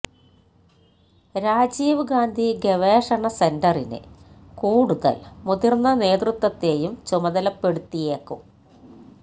രാജീവ് ഗാന്ധി ഗവേഷണ സെന്ററിന് കൂടുതൽ മുതിർന്ന നേതൃത്വത്തേയും ചുമതലപ്പെടുത്തിയേക്കും